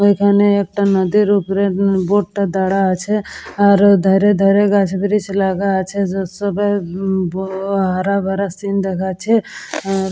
এইখানে একটা নদীর ওপরে বোট -টা দাড়া আছে আর ওধারে ধারে গাছ ব্রিচ লাগা আছে যেসবের ব উ হারা ভারা সিন দেখাচ্ছে আ--